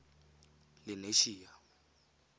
lenasia